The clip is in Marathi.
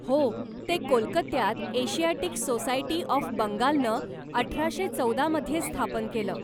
हो ते कोलकात्त्यात एशियाटिक सोसायटी ऑफ बंगालनं अठराशे चौदा मध्ये स्थापन केलं.